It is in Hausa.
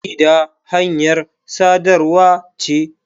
Jarida hanyar sadarwa ce.